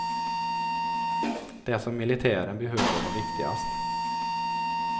Det som militären behövde var viktigast.